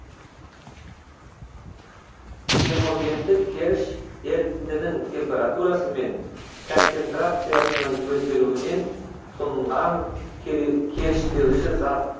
хемогендік керіш ерітіндінің температурасы мен концентрациясының өзгеруінен тұнған керіштеуші зат